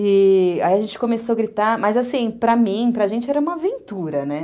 E aí a gente começou a gritar, mas assim, para mim, para a gente, era uma aventura, né?